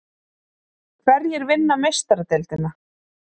Hverjir vinna Meistaradeildina?